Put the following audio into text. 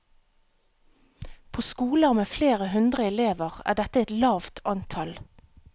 På skoler med flere hundre elever, er dette et lavt antall.